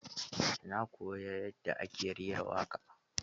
Na koyi yadda ake rera waƙar.